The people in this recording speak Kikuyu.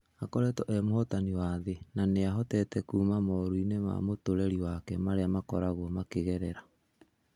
Akoretwo e muhotani wa thĩĩ na nĩa nĩahotete kuuma moruinĩ ma mũtũrerĩ wake marĩa makoragwo makĩgerera.